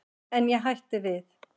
En ég hætti við.